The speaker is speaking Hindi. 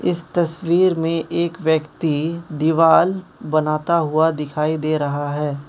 इस तस्वीर में एक व्यक्ति दीवाल बनाता हुआ दिखाई दे रहा है।